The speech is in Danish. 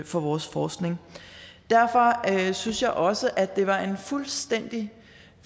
for vores forskning derfor synes jeg også at det var en fuldstændig